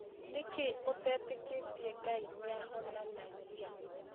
Nĩkĩĩ ũtetĩkĩtie Ngai nĩahonanagia?